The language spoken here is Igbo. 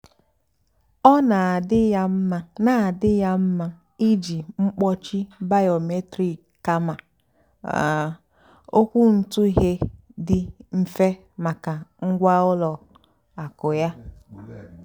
ọ́ nà-àdì́ yá mmá nà-àdì́ yá mmá ìjì mkpọ́chì bìómétric kàmà um ókwúntụ̀ghé dì mmfè màkà ngwá ùlọ àkụ́ yá.